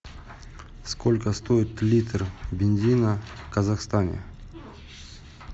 сколько стоит литр бензина в казахстане